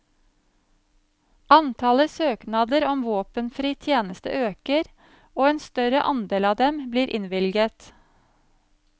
Antallet søknader om våpenfri tjeneste øker, og en større andel av dem blir innvilget.